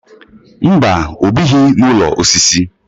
Mba, ọ bighị n'ụlọ osisi